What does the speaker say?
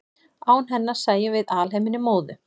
án hennar sæjum við alheiminn í móðu